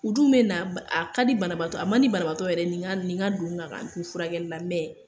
U dun be na, a ka banabatɔ ye , a man banabatɔ yɛrɛ ye nin ka nin ka don n kan ka n to furakɛli la